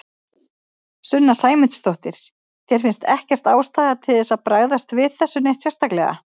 Sunna Sæmundsdóttir: Þér finnst ekkert ástæða til þess að bregðast við þessu neitt sérstaklega?